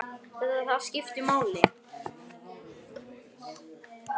Hver vill ljá okkur rödd?